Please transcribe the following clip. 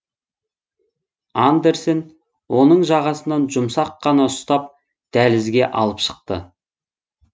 андерсен оның жағасынан жұмсақ қана ұстап дәлізге алып шықты